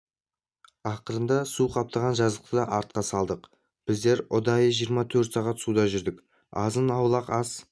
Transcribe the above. ақырында су қаптаған жазықты да артқа салдық біздер ұдайы жиырма төрт сағат суда жүрдік азын-аулақ ас